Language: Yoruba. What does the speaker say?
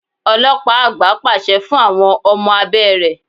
Ọlọ́pàá àgbà pàṣẹ fún àwọn ọmọ abé rẹ.